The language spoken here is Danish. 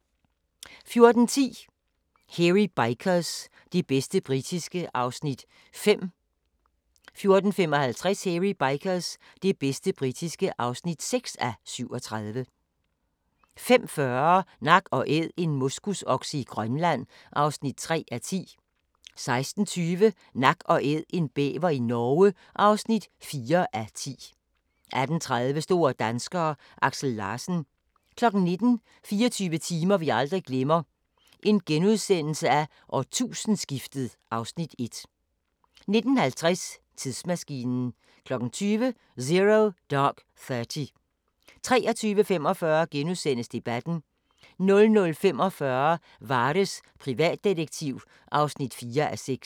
14:10: Hairy Bikers – det bedste britiske (5:37) 14:55: Hairy Bikers – det bedste britiske (6:37) 15:40: Nak & Æd - en moskusokse i Grønland (3:10) 16:20: Nak & Æd – en bæver i Norge (4:10) 18:30: Store danskere: Aksel Larsen 19:00: 24 timer vi aldrig glemmer: Årtusindeskiftet (Afs. 1)* 19:50: Tidsmaskinen 20:00: Zero Dark Thirty 23:45: Debatten * 00:45: Vares, privatdetektiv (4:6)